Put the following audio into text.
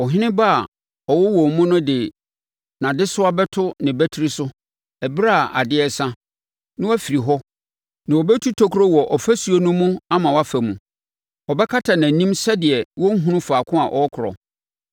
“Ɔhene ba a ɔwɔ wɔn mu no de nʼadesoa bɛto ne batiri so ɛberɛ a adeɛ resa, na wafiri hɔ, na wɔbɛtu tokuro wɔ ɔfasuo no mu ama wafa mu. Ɔbɛkata nʼanim sɛdeɛ ɔrenhunu faako a ɔrekorɔ.